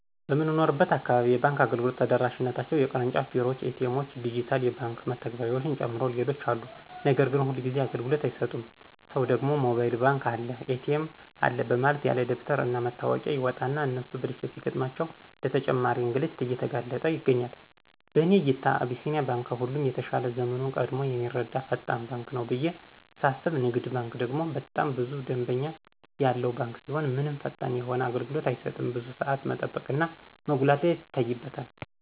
በምኖርበት አካባቢ የባንክ አገልግሎት ተደራሽነታቸው የቅርጫፍ ቢሮዎች፣ ኤ.ቲ. ኤምዎች፣ ዲጅታል የባንክ መተግበሪያዎችን ጨምሮ ሌሎችም አሉ ነገር ግን ሁልጊዚ አግልግሎት አይሰጡም ሰው ደግሞ ሞባይል ባንክ አለ፣ ኤ.ቲ.ኤም አለ በማለት ያለደበተር እና መታወቂያ ይወጣና እነሱ ብልሽት ሲገጥማቸው ለተጨማሪ እንግልት እየተጋለጥ ይገኛል። በእኔ እይታ አቢሲኒያ ባንክ ከሁሉም የተሻለ ዘመኑን ቀድሞ የሚረዳ ፈጣን ባንክ ነው ብየ ሳስብ ንግድ ባንክ ደግሞ በጣም ብዙ ደምበኛ ያለው ባንክ ሲሆን ምንም ፈጣን የሆነ አገልግሎት አይሰጥም ብዙ ሳዓት መጠበቅ እና መጉላላት ይታይበታል።